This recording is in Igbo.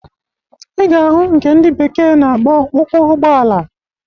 Ị ga-ahụ nke ndị bekee na-akpọ ụkwụ Ụgbọala